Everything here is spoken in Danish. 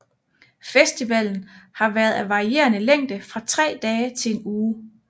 Festivalen har været af varierende længde fra tre dage til en uge